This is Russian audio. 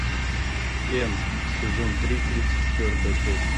н сезон три тридцать четвертая часть